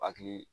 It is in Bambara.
Hakili